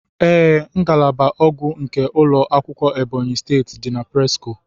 Ee, ngalaba ogwu nke ulọ akwụkwọ Ebonyi steeti di na presco.